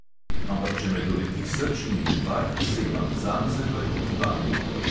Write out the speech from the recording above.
"Ampak če me doleti srčni infarkt, se imam zanj zahvaliti vam."